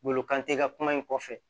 Wolo kan te ka kuma in kɔfɛ